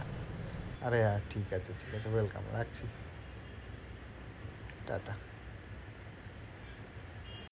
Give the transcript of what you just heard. আরে আর ঠিক আছে ঠিক আছে welcome রাখছি টাটা।